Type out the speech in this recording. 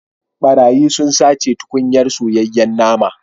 Barayi sun sace tukunyar soyayyen naman